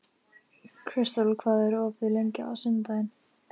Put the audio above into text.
Kristel, hvað er opið lengi á laugardaginn?